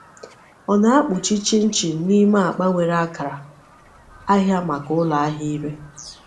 Ọ na-akpuchi chinchin n’ime akpa nwere akara ahịa maka ụlọ ahịa ire.